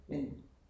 Men